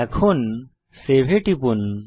এখন সেভ এ টিপুন